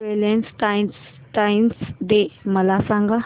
Valentine's Day मला सांग